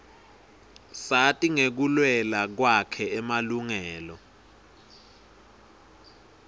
sati ngekuluela kwakhe emalungela